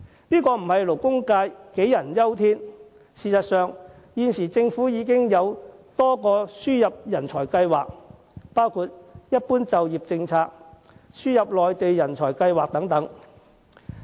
勞工界並不是杞人憂天。事實上，政府現時已設有多個輸入人才計劃，包括"一般就業政策"和"輸入內地人才計劃"等。